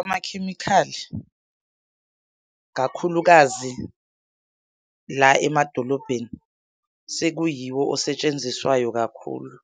Amakhemikhali, kakhulukazi la emadolobheni sekuyiwo osetshenziswayo kakhulu